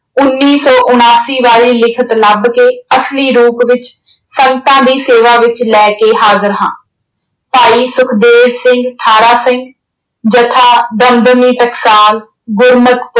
ਉਨੀ ਸੌ ਉਨਾਸੀ ਵਾਲੀ ਲਿਖਤ ਲੱਭ ਕੇ ਅਸਲੀ ਰੂਪ ਵਿੱਚ ਸੰਗਤਾਂ ਦੀ ਸੇਵਾ ਵਿੱਚ ਲੈ ਕੇ ਹਾਜ਼ਿਰ ਹਾਂ। ਭਾਈ ਸੁਖਦੇਵ ਸਿੰਘ, ਠਾਰਾ ਸਿੰਘ, ਜਥਾ ਦਮਦਮੀ ਟਕਸਾਲ, ਗੁਰਮਤ